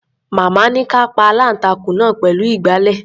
Màmá ní ká a pa aláǹtakùn náà pẹ̀lú ìgbàlẹ̀.